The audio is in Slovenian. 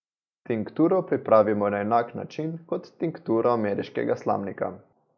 Tinkturo pripravimo na enak način kot tinkturo ameriškega slamnika.